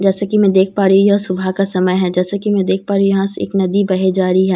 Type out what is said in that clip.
जैसा कि मैं देख पा रही हूं यह सुबह का समय है जैसे कि मैं देख पा रही हूं यहां एक नदी बहे जा रही हैं।